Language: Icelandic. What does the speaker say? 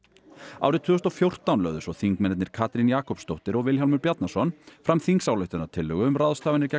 árið tvö þúsund og fjórtán lögðu svo þingmennirnir Katrín Jakobsdóttir og Vilhjálmur Bjarnason fram þingsályktunartillögu um ráðstafanir gegn